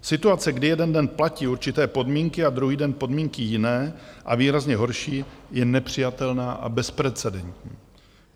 Situace, kdy jeden den platí určité podmínky a druhý den podmínky jiné a výrazně horší, je nepřijatelná a bezprecedentní.